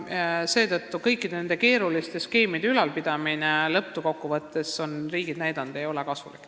Lõppkokkuvõttes ei ole kõikide nende keeruliste skeemide ülalpidamine kasulik.